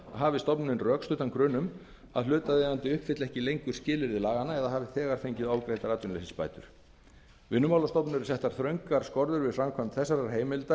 hafi stofnunin rökstuddan grun um að hlutaðeigandi uppfylli ekki lengur skilyrði laganna eða hafi þegar fengið ofgreiddar atvinnuleysisbætur vinnumálastofnun eru settar þröngar skorður við framkvæmd þessarar heimildar